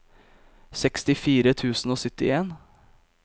sekstifire tusen og syttien